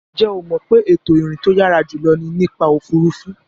Ǹjẹ́ o mọ̀ pé ètò ìrìn tó yàrá jùlọ ni nípa òfuurufú.